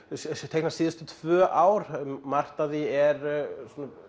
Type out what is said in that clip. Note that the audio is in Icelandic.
teikna síðustu tvö ár margt af því er